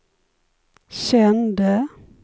kände